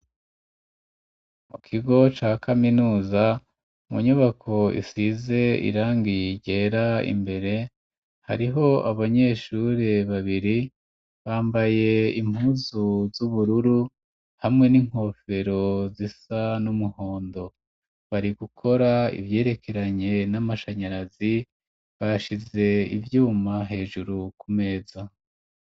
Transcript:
Mu kigo ca kaminuza mu nyubako isize irangi ryera imbere hariho abanyeshuri babiri bambaye impuzu z'ubururu hamwe n'inkofero zisa n'umuhondo bari gukora ivyerekeranye n'amashanyarazi bashize ibyuma hejuru kumeza.